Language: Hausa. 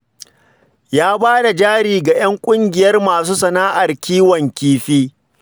Ya ba da jari ga 'yan ƙungiyar masu sana'ar kiwon kifi